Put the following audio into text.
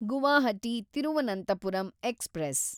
Guwahati Thiruvananthapuram express